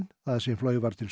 þaðan sem flogið var til